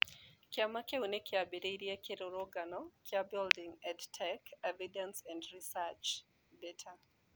Kĩama kĩu nĩ kĩambĩrĩirie kĩrũrũngano kĩa Building EdTech Evidence and Research (BETER)